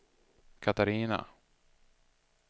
Catarina